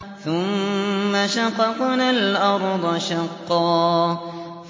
ثُمَّ شَقَقْنَا الْأَرْضَ شَقًّا